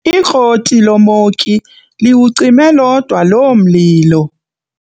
Ikroti lomoki liwucime lodwa loo mlilo.